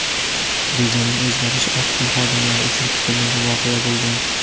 Rejaning o‘zgarishi Oq uy xodimlari uchun kutilmagan voqea bo‘lgan.